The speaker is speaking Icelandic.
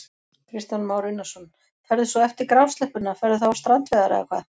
Kristján Már Unnarsson: Ferðu svo eftir grásleppuna, ferðu þá á strandveiðarnar eða hvað?